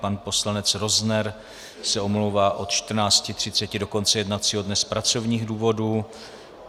Pan poslanec Rozner se omlouvá od 14.30 do konce jednacího dne z pracovních důvodů.